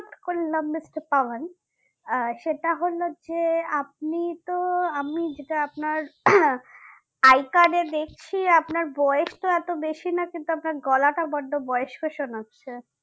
করলাম দেখতে পায়ন আহ সেটা হলো যে আপনি তো আমি যেটা আপনার আহ I card এ দেখি আপনার বয়স তো এতো বেশি না কিন্তু আপনার গলাটা বড্ড বয়স্ক শোনাচ্ছে